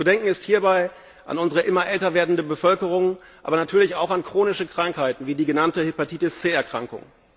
Zu denken ist hierbei an unsere immer älter werdende Bevölkerung, aber natürlich auch an chronische Krankheiten, wie die genannte Hepatitis C Erkrankung.